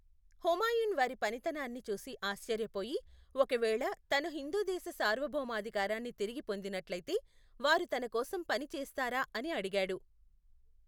హుమాయున్ వారి పనితనాన్ని చూసి ఆశ్చర్యపోయి, ఒకవేళ తను హిందుదేశ సార్వభౌమాధికారాన్ని తిరిగి పొందినట్లయితే, వారు తన కోసం పని చేస్తారా అని అడిగాడు.